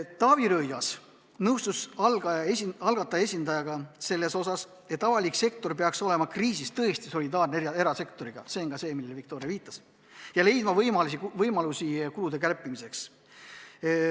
Taavi Rõivas nõustus algataja esindajaga selles osas, et avalik sektor peaks kriisis tõesti erasektoriga solidaarne olema – see on see, millele Viktoriagi viitas – ja leidma võimalusi kulude kärpimiseks.